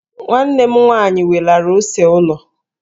Nwa m nwaanyị welara ose ụlọ.